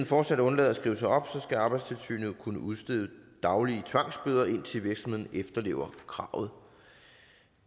fortsat undlader at skrive sig op skal arbejdstilsynet kunne udstede daglige tvangsbøder indtil virksomheden efterlever kravet